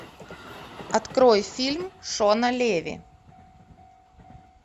открой фильм шона леви